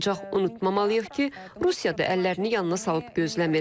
Ancaq unutmamaq lazımdır ki, Rusiya da əllərini yanına salıb gözləmir.